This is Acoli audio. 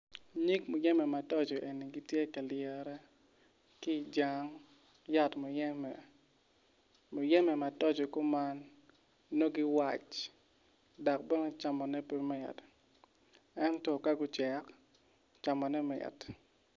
Nyig muyeme matoco eni gitye kalyere ki jang yat muyeme muyeme matoco kuman nongo giwac dok bene camone pe mit ento ka gucek camone mit